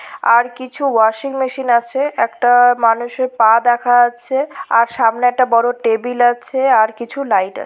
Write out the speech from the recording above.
আর কিছু washing machine আছে। একটা মানুষের পা দেখা যাচ্ছে। আর সামনে একটা বড় টেবিল আছে আর কিছু লাইট আছে।